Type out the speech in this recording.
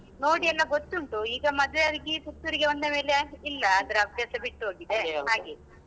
ನೋಡಿ ಎಲ್ಲಗೊತ್ತುಂಟು, ಈಗ ಮದ್ವೆಯಾಗಿ ಪುತ್ತೂರಿಗೆ ಬಂದ ಮೇಲೆ ಇಲ್ಲಾ ಅದ್ರ ಬಿಟ್ಟ್ಹೋಗಿದೆ ಹಾಗೆ.